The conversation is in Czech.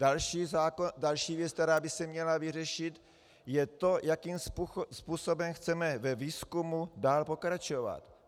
Další věc, která by se měla vyřešit, je to, jakým způsobem chceme ve výzkumu dále pokračovat.